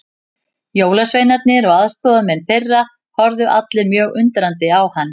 Jólasveinarnir og aðstoðarmenn þeirra horfðu allir mjög undrandi á hann.